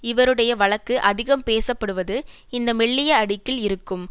இவருடைய வழக்கு அதிகம் பேசப்படுவது இந்த மெல்லிய அடுக்கில் இருக்கும்